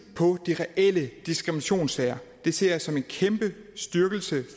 på de reelle diskriminationssager det ser jeg som en kæmpe styrkelse